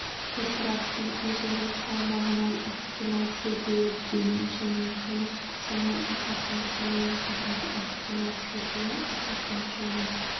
топырақтың өзінің салмағынан ықтимал шөгуі дейін және жұмыс қысымы асатын сонымен қатар ықтимал шөгуі асатын және